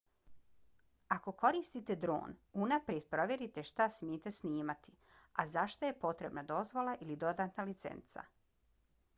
ako koristite dron unaprijed provjerite šta smijete snimati a za šta je potrebna dozvola ili dodatna licenca